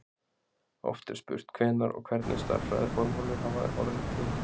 Oft er spurt hvenær og hvernig stærðfræðiformúlur hafi orðið til.